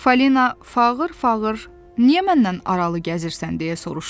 Falina fağır-fağır, niyə məndən aralı gəzirsən deyə soruşdu.